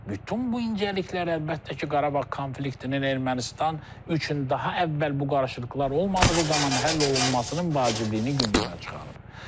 Bütün bu incəliklər əlbəttə ki, Qarabağ konfliktinin Ermənistan üçün daha əvvəl bu qarışıqlıqlar olmadığı zaman həll olunmasının vacibliyini gündəmə çıxarıb.